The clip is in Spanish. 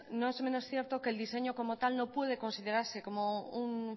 no es menos cierto que el diseño como tal no puede considerarse como un